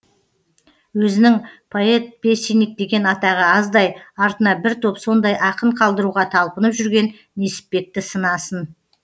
өзінің поэт песенник деген атағы аздай артына бір топ сондай ақын қалдыруға талпынып жүрген несіпбекті сынасын